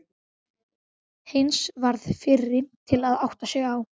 Heinz varð fyrri til að átta sig.